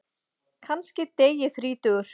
Kannski dey ég þrítugur.